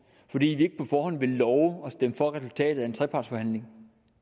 fordi vi ikke forhånd ville love at stemme for resultatet af en trepartsforhandling